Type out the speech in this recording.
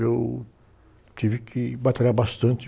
Eu tive que batalhar bastante.